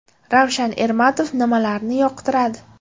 Ravshan Ermatov nimalarni yoqtiradi?.